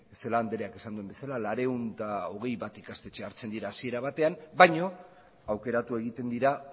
celaá andrean esan duen bezala laurehun eta hogeita bat ikastetxe hartzen dira hasiera batean baina aukeratu egiten dira